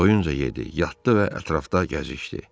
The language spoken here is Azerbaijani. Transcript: Doyunca yedi, yatdı və ətrafda gəzişdi.